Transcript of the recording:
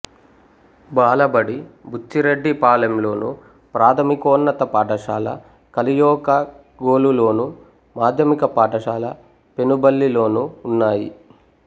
బాలబడి బుచ్చిరెడ్డిపాలెంలోను ప్రాథమికోన్నత పాఠశాల కలయోకాగోలులోను మాధ్యమిక పాఠశాల పెనుబల్లిలోనూ ఉన్నాయి